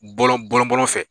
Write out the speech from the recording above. Bɔlɔn bɔlɔn-bɔlɔn fɛ